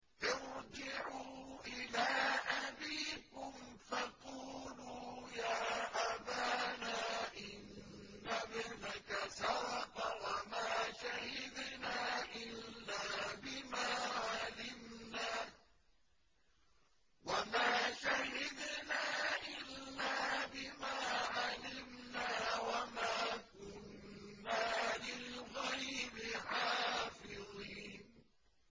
ارْجِعُوا إِلَىٰ أَبِيكُمْ فَقُولُوا يَا أَبَانَا إِنَّ ابْنَكَ سَرَقَ وَمَا شَهِدْنَا إِلَّا بِمَا عَلِمْنَا وَمَا كُنَّا لِلْغَيْبِ حَافِظِينَ